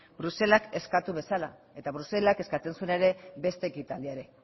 bruselak eskatu bezala eta bruselak eskatzen zuen ere beste ekitaldia ere